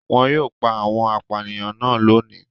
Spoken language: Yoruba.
Wọn yóò pa àwọn apànìyàn náà lónìí.